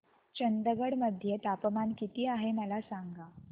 चंदगड मध्ये तापमान किती आहे मला सांगा